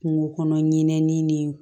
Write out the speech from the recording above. Kungo kɔnɔ ɲinɛnin ni